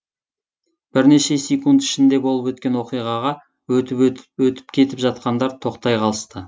бірнеше секунд ішінде болып өткен оқиғаға өтіп кетіп жатқандар тоқтай қалысты